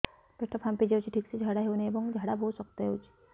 ପେଟ ଫାମ୍ପି ଯାଉଛି ଠିକ ସେ ଝାଡା ହେଉନାହିଁ ଏବଂ ଝାଡା ବହୁତ ଶକ୍ତ ହେଉଛି